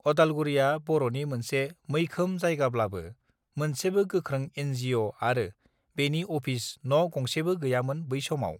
अदालगुरिया बरनि मोनसे मैखोम जायगाब्लाबो मोनसेबो गोख्रों एनजिअ आरो बेनि अफिस न गंसेबो गैयामोन बै समाव